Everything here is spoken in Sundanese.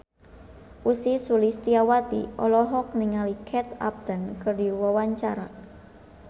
Ussy Sulistyawati olohok ningali Kate Upton keur diwawancara